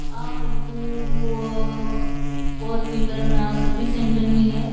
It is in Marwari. आ फोटो ऊ ऊ ओ फॉर व्हीलर ने सर्विस सेंटर नी है।